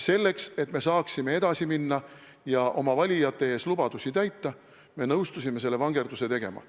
Selleks, et me saaksime edasi minna ja oma valijatele antud lubadusi täita, me nõustusime selle vangerduse tegema.